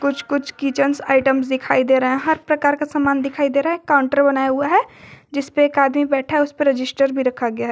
कुछ कुछ kitchens items दिखाई दे रहा है हर प्रकार का मान दिखाई दे रहा है काउंटर बनाया हुआ है जिस पर एक आदमी बैठा है उसे पर रजिस्टर भी रखा गया है।